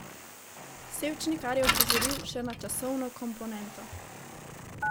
Sevčnikar je opozoril še na časovno komponento.